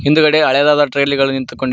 ಹಿಂದುಗಡೆ ಹಳೆಯದಾದ ಟ್ರಾಯ್ಲಿ ಗಳು ನಿಂತು.